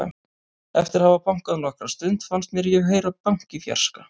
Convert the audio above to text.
Eftir að hafa bankað nokkra stund fannst mér ég heyra bank í fjarska.